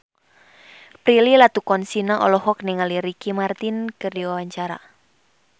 Prilly Latuconsina olohok ningali Ricky Martin keur diwawancara